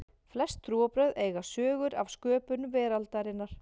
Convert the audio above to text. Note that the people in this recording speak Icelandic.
flest trúarbrögð eiga sögur af sköpun veraldarinnar